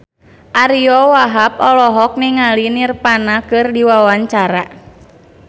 Ariyo Wahab olohok ningali Nirvana keur diwawancara